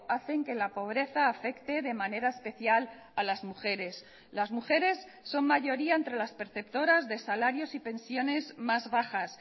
hacen que la pobreza afecte de manera especial a las mujeres las mujeres son mayoría entre las perceptoras de salarios y pensiones más bajas